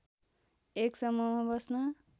एक समूहमा बस्न